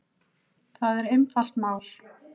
Það er einfalt mál